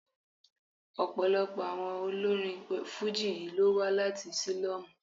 Ọ̀pọ̀lọpọ̀ àwọn olórin Fújì yí ló wá láti sílọ́mù.